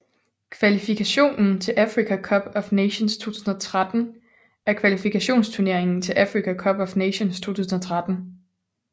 Kvalifikationen til Africa Cup of Nations 2013 er kvalifikationsturneringen til Africa Cup of Nations 2013